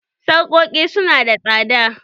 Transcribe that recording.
Sarƙoƙi su nada tsada.